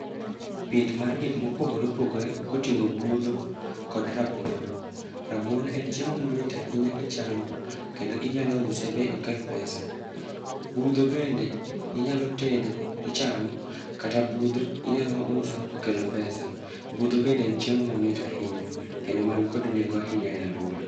Pith mar gik mopogore opogore koting'o budho kod rabuon, rabuon en chiemo ma mit ahinya kichamo kendo inyalo use be okel pesa. Budho bende inyalo tedo tichamo, kata budho inyalo uso tokelo pesa. Budho bende en chiemo ma mit ahinya, kendo man kod nengo ahinya e alwora.